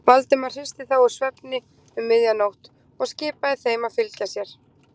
Valdimar hristi þá úr svefni um miðja nótt og skipaði þeim að fylgja sér.